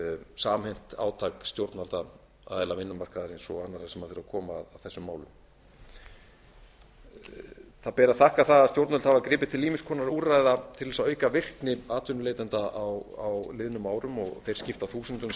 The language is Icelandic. samhent átak stjórnvalda aðila vinnumarkaðarins og annarra sem þurfa að koma að þessum málum það er að þakka það að stjórnvöld hafa gripið til ýmiss konar úrræða til að auka virkni atvinnuleitenda á liðnum árum og þeir skipta þúsundum